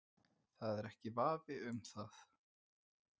Það er ekki vafi um það.